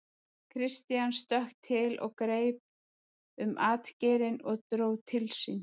Christian stökk til og greip um atgeirinn og dró til sín.